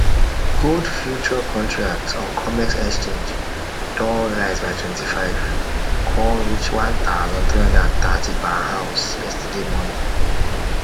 gold future contract on comex exchange don rise by 25 con reach 1330 per ounce yesterday morning